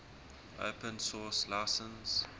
open source license